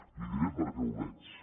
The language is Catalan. li diré per què ho veig